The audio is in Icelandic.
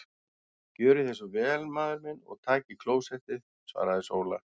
Gjörið þér svo vel maður minn og takið klósettið, svaraði Sóla.